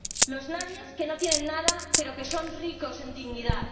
Los nadies, que no tienen nada, pero que son ricos en dignidad.